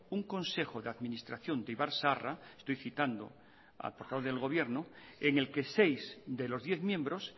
un consejo de administración de ibarzaharra estoy citando al portavoz del gobierno enel que seis de los diez miembros